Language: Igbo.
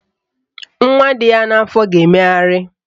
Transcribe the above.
Nwa dị ya n'afọ ga-emegharị